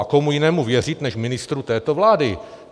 A komu jiném uvěřit než ministru této vlády?